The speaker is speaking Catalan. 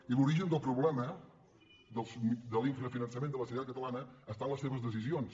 i l’origen del problema de l’infrafinançament de la sanitat catalana està en les seves decisions